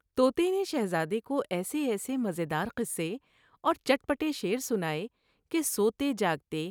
توتے نے شہزادے کو ایسے ایسے مزیدار قصے اور چٹ پٹے شعر سناۓ کہ سوتے جاگتے